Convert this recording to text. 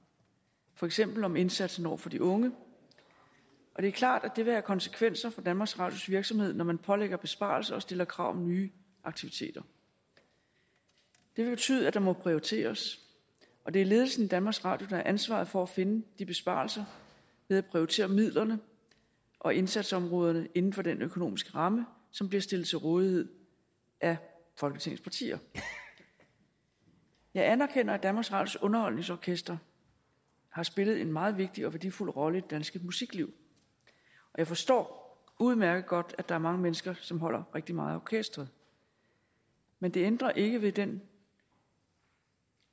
for eksempel om indsatsen over for de unge det er klart at det vil have konsekvenser for danmarks radios virksomhed når man pålægger dem besparelser og stiller krav om nye aktiviteter det vil betyde at der må prioriteres og det er ledelsen i danmarks radio der har ansvaret for at finde de besparelser ved at prioritere midlerne og indsatsområderne inden for den økonomiske ramme som bliver stillet til rådighed af folketingets partier jeg anerkender at danmarks radios underholdningsorkester har spillet en meget vigtig og værdifuld rolle i det danske musikliv og jeg forstår udmærket godt at der er mange mennesker som holder rigtig meget af orkesteret men det ændrer ikke ved den